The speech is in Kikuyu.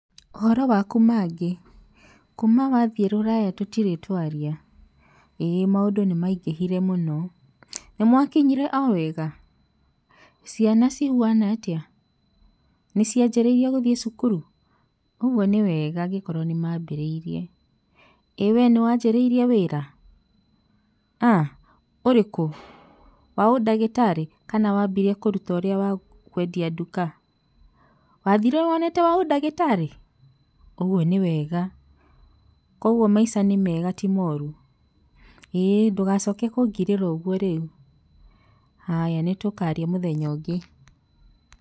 ''Ũhoro waku Maggy ,kuuma wathie rũraya tũtirĩ twaria, ĩĩ maũndũ nĩmaingĩhire mũno, nĩmwakinyire owega? ciana cihuana atĩa? nĩciajĩrĩrie gũthĩe cukuru? ũguo nĩ wega angĩkorwo nĩmambĩrĩirie, ĩĩ we nĩwajĩrĩire wĩra?[uuhh]ũrĩkũ?wa ũndagĩtarĩ kana wambire kũruta ũrĩa wa kwendia nduka? wathire wonete wa ũndagĩtarĩ? ũguo nĩ wega, kwoguo maica nĩ mega ti moru?ĩĩ ndũgacoke kũngirĩra ũguo rĩu haya nĩtũkaria mũthenya ũngĩ.''